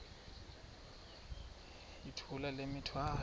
yithula le mithwalo